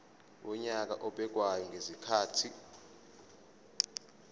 wonyaka obekwayo ngezikhathi